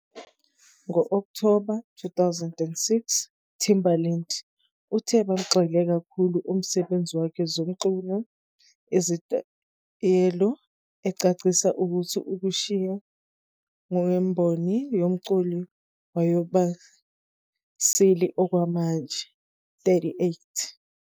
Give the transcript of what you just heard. Ngo-October 2006, Timberlake uthe bagxile kakhulu umsebenzi wakhe zomculo isinyathelo, ecacisa ukuthi ukushiya ngemboni yomculo wayeyoba 'silly okwamanje ".38